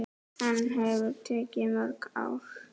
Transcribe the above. Hann hefur tekið mörg ár.